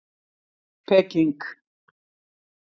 Peking